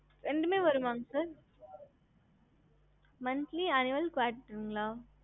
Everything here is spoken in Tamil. ஹம்